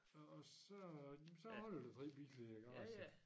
Og og så jamen så holder der 3 biler i æ garage